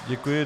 Děkuji.